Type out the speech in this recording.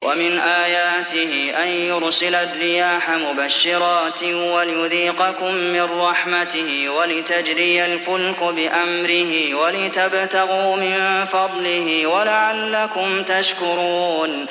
وَمِنْ آيَاتِهِ أَن يُرْسِلَ الرِّيَاحَ مُبَشِّرَاتٍ وَلِيُذِيقَكُم مِّن رَّحْمَتِهِ وَلِتَجْرِيَ الْفُلْكُ بِأَمْرِهِ وَلِتَبْتَغُوا مِن فَضْلِهِ وَلَعَلَّكُمْ تَشْكُرُونَ